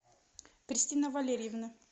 кристина валерьевна